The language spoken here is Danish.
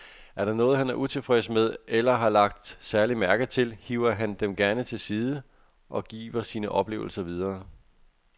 Er der noget, han er utilfreds med eller har lagt særlig mærke til, hiver han dem gerne til side og giver sine oplevelser videre.